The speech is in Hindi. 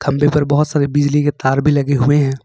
बहुत सारे बिजली के तार भी लगे हुए हैं।